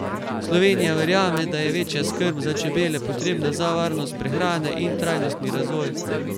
Slovenija verjame, da je večja skrb za čebele potrebna za varnost prehrane in trajnostni razvoj.